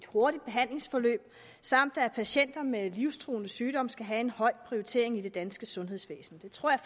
hurtigt behandlingsforløb samt at patienter med livstruende sygdomme skal have en høj prioritering i det danske sundhedsvæsen det tror jeg